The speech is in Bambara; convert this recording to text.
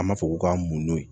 An b'a fɔ ko k'an mɔndo yen